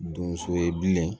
Donso ye bilen